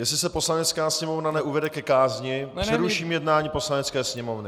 Jestli se Poslanecká sněmovna neuvede ke kázni, přeruším jednání Poslanecké sněmovny.